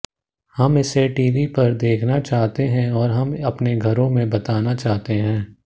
हम इसे टीवी पर देखना चाहते हैं और हम अपने घरों में बताना चाहते हैं